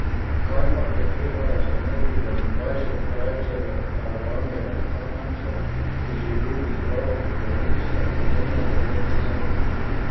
Kajpak je treba razumeti, da bi dvajset krajcarjev karavani razcapancev, ki živi iz rok v usta, pomenilo lepo vsoto.